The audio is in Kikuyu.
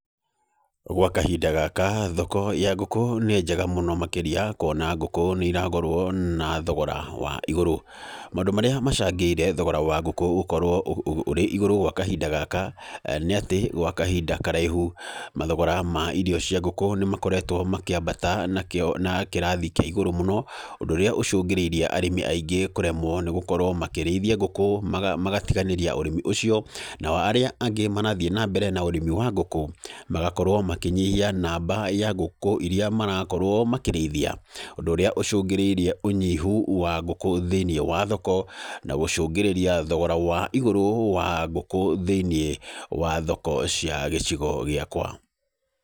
Gwa kahinda gaka, thoko ya ngũkũ nĩ njega mũno makĩria, kuona ngũkũ nĩ iragũrwo na thogora wa igũrũ. Maũndũ marĩa macangĩire thogora wa ngũkũ gũkorwo ũrĩ igũrũ gwa kahinda gaka, nĩ atĩ gwa kahinda karaihu mathogora ma irio cia ngũkũ nĩ makoretwo makĩambata na kĩo na kĩrathi kĩa igũrũ mũno, ũndũ ũrĩa ũcũngĩrĩirie arĩmi aingĩ kũremwo nĩ gũkorwo makĩrĩithia ngũkũ, magatiganĩria ũrĩmi ũcio. Nao arĩa angĩ marathiĩ na mbere na ũrĩmi wa ngũkũ, magakorwo makĩnyihia namba ya ngũkũ irĩa marakorwo makĩrĩithia. Ũndũ ũrĩa ũcũngĩrĩirie ũnyihu wa ngũkũ thĩiniĩ wa thoko, na gũcũngĩrĩria thogora wa igũrũ wa ngũkũ thĩiniĩ wa thoko cia gĩcigo gĩakwa.